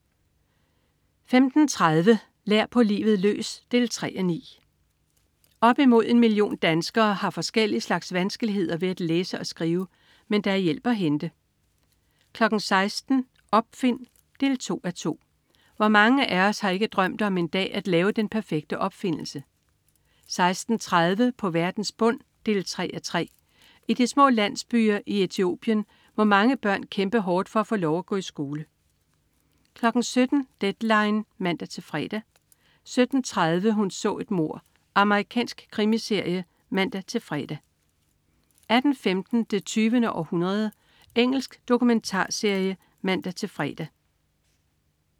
15.30 Lær på livet løs 3:9. Op mod en million danskere har forskellige slags vanskeligheder med at læse og skrive. Men der er hjælp at hente 16.00 Opfind 2:2. Hvor mange af os har ikke drømt om en dag at lave den perfekte opfindelse? 16.30 På verdens bund 3:3. I de små landsbyer i Etiopien må mange børn kæmpe hårdt for at få lov at gå i skole 17.00 Deadline 17.00 (man-fre) 17.30 Hun så et mord. Amerikansk krimiserie (man-fre) 18.15 Det 20. århundrede. Engelsk dokumentarserie (man-fre)